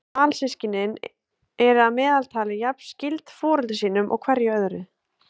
Alsystkin eru að meðaltali jafn skyld foreldrum sínum og hverju öðru.